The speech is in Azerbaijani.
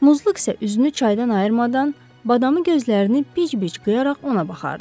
Muzluq isə üzünü çaydan ayırmadan badamı gözlərini bici-bici qıyaraq ona baxardı.